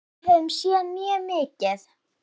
Við höfum séð mjög mikið.